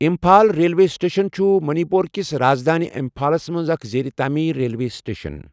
Imphal railway station چھُ Manipur کِس راز دٲنۍ امپھالس منٛز اکھ زیر تعمیٖر ریلوے سٹیشن۔